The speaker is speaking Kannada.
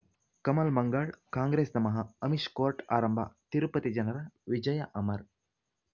ಕಮಲ್ ಮಂಗಳ್ ಕಾಂಗ್ರೆಸ್ ನಮಃ ಅಮಿಷ್ ಕೋರ್ಟ್ ಆರಂಭ ತಿರುಪತಿ ಜನರ ವಿಜಯ ಅಮರ್